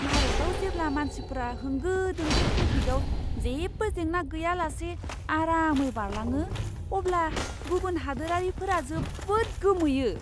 भारतआव जेब्ला मानसिफोरा होंगो दोंगो ट्राफिकआव जेबो जेंना गैयालासे आरामै बारलाङो, अब्ला गुबुन हादोरारिफोरा जोबोद गोमोयो!